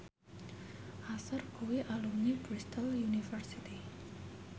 Usher kuwi alumni Bristol university